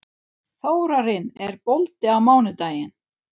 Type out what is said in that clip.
Þórarinn, er bolti á mánudaginn?